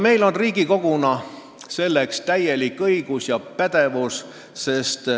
Meil on Riigikoguna selleks täielik õigus ja pädevus.